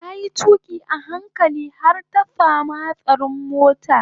Tayi tuƙi a hankali kar ta samu hatsarin mota